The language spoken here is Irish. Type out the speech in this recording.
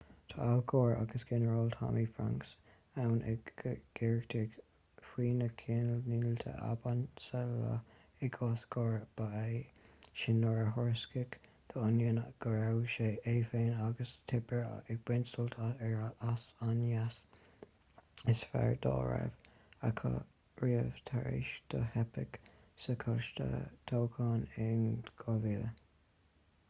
tá al gore agus ginearál tommy franks ann ag gaotaireacht faoi na ceannlínte ab ansa leo i gcás gore ba é sin nuair a thuairiscigh the onion go raibh é féin agus tipper ag baint sult as an ngnéas is fearr dá raibh acu riamh tar éis dó teipeadh sa choláiste toghcháin in 2000